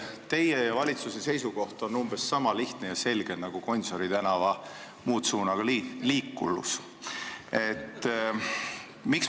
Teie ja valitsuse seisukoht on umbes niisama lihtne ja selge nagu Gonsiori tänava muutsuunaga liiklus.